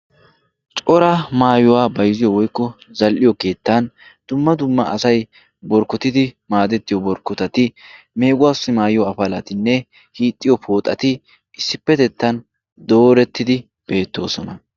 cora maayuwaa baiziyo woikko zal''iyo keettan dumma dumma asai borkkotidi maadettiyo borkkotati meeguwaassi maayuyo afalatinne hiixxiyo pooxati issippetettan doorettidi beettoosona